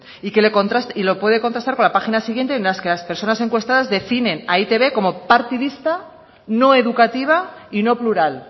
y lo puede contractar con la página siguiente en la que las personas encuestadas definen a e i te be como partidista no educativa y no plural